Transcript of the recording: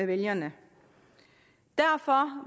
vælgerne derfor